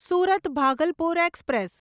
Surat Bhagalpur express